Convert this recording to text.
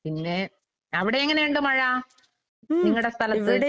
പിന്നേ അവടെ എങ്ങനെയൊണ്ട് മഴ നിങ്ങടെ സ്ഥലത്ത്?